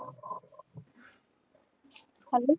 ਖੰਡ